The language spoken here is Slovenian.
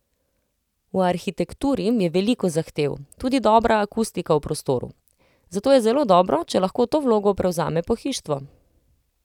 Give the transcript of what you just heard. V arhitekturi je veliko zahtev, tudi dobra akustika v prostoru, zato je zelo dobro, če lahko to vlogo prevzame pohištvo.